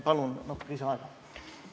Palun natuke lisaaega!